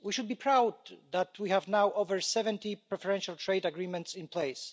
We should be proud that we now have over 70 preferential trade agreements in place.